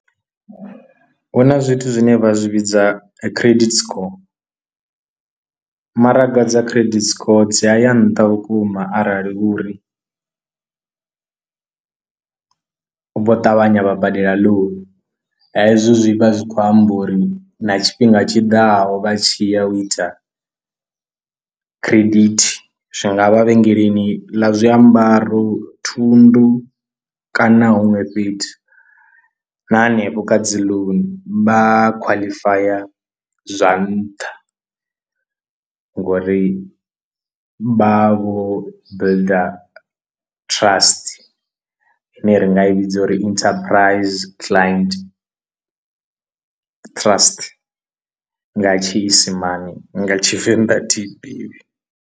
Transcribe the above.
Hu huna zwithu zwine vha zwi vhidza credit score, maraga dza credit score dzi ya ya nṱha vhukuma arali huri vho ṱavhanya vha badela loan, hezwo zwi vha zwi khou amba uri na tshifhinga tshiḓaho vha tshi ya u ita credit zwi nga vha vhengeleni ḽa zwiambaro, thundu kana huṅwe fhethu na hanefho kha dzi loan vha khwaḽifaya zwa nṱha ngori vha vho builder ftrust ine ri nga i vhidza uri interprize client trust nga tshi isimane nga tshivenḓa athiyi ḓivhi.